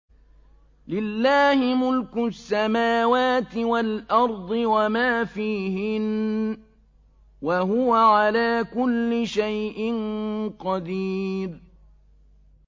لِلَّهِ مُلْكُ السَّمَاوَاتِ وَالْأَرْضِ وَمَا فِيهِنَّ ۚ وَهُوَ عَلَىٰ كُلِّ شَيْءٍ قَدِيرٌ